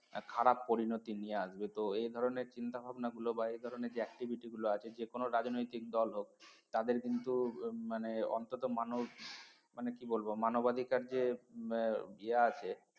খারাপ পরিণতি নিয়ে আসবে তো এই ধরণের চিন্তাভাবনা গুলো বা এই ধরণের যে activity গুলো আছে যেকোনো রাজনৈতিক দল হোক তাদের কিন্তু মানে অন্তত মানুষ মানে কি বলবো মানবাধিকার যে আছে